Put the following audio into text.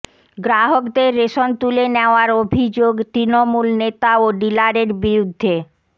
গ্রাহকদের রেশন তুলে নেওয়ার অভিযোগ তৃণমূল নেতা ও ডিলারের বিরুদ্ধে